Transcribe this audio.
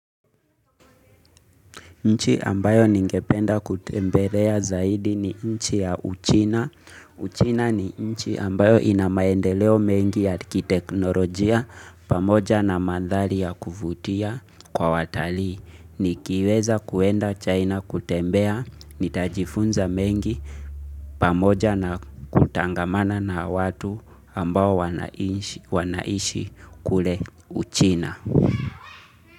Nchi ambayo ningependa kutembelea zaidi ni nchi ya Uchina Uchina ni nchi ambayo ina maendeleo mengi ya kiteknolojia pamoja na mandhali ya kuvutia kwa watalii. Nikiweza kuenda China kutembea nitajifunza mengi pamoja na kutangamana na watu ambao wanaishi kule uchina.